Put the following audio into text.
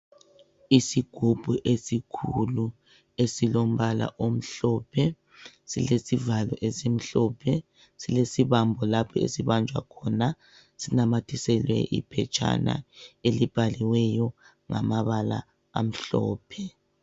Isigubhu esikhulu esilombala omhlophe silesivalo esimhlophe, silesibambo lapho esibanjwa khona sinamathiselwe iphetshana elibhaliweyo ngamabala amhlophe.